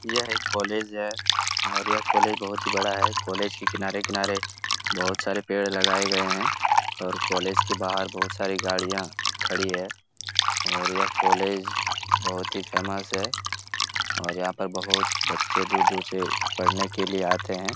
यह एक कॉलेज है और यह कॉलेज बहुत ही बड़ा है कॉलेज के किनारे-किनारे बहुत सारे पेड़ लगाया गए है और कॉलेज के बाहर बहुत सारी गाड़िया खड़ी है और यह कॉलेज बहुत ही फेमस है और यहाँ पे बहुत बच्चे दूर-दूर से पढ़ने के लिए आते हैं।